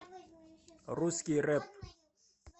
русский рэп